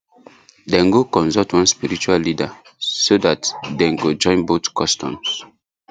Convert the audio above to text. dem go consult one spiritual leader so that dem go join both customs